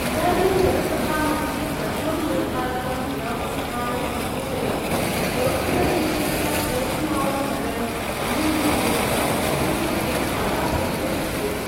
इदानीं जनसभामध्ये प्रथमं निर्धारितं विरामस्थानम् विभूषयत् पोर्तुगल्देशस्य पोर्टिमाओ नगरम् अम्युरी विरुद्धं क्षतिपूर्तिं आदापयितुं चिन्तयति।